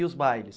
E os bailes.